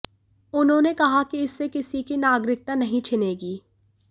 उन्होंने कहा कि इससे किसी की नागरिकता नहीं छिनेगी